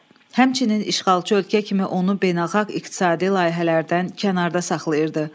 Həmçinin işğalçı ölkə kimi onu beynəlxalq iqtisadi layihələrdən kənarda saxlayırdı.